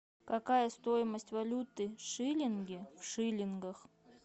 какая стоимость валюты шиллинги в шиллингах